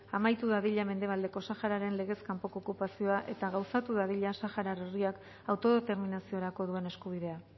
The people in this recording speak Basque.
amaitu dadila mendebaldeko sahararen legez kanpoko okupazio eta gauzatu dadila saharar herriak autodeterminaziorako duen eskubidea